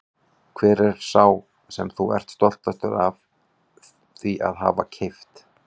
Hver er sá sem þú ert stoltastur af því að hafa keypt?